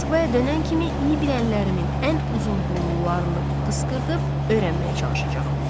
Moskvaya dönən kimi iyi bilənlərimin ən uzunburunlularını qısqırdıb öyrənməyə çalışacağam.